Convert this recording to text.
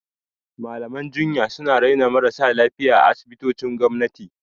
Malaman jinya suna raina marasa lafiya a asibitocin gwamnati.